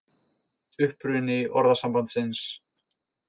Uppruni orðasambandsins